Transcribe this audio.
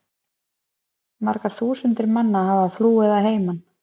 Margar þúsundir manna hafa flúið að heiman.